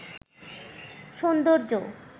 সৌন্দর্য